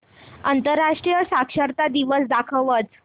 आंतरराष्ट्रीय साक्षरता दिवस दाखवच